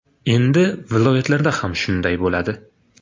Endi viloyatlarda ham shunday bo‘ladi.